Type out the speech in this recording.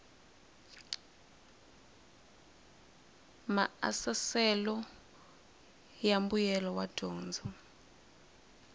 maasesele swa mbuyelo wa dyondzo